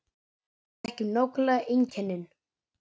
Við þekkjum nákvæmlega einkennin